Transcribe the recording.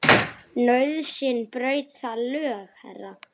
Nauðsyn braut þau lög, herra.